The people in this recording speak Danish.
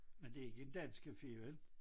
Men det ikke en dansk café vel?